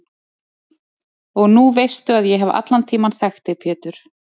Og nú veistu að ég hef allan tímann þekkt þig Pétur.